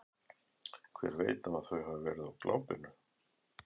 Hver veit nema þau hafi verið á glápinu.